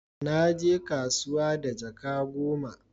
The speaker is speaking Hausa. Na je kasuwa da jaka goma